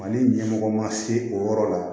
Mali ɲɛmɔgɔ ma se o yɔrɔ la